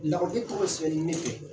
tɔgɔ sɛbɛli ne fɛ.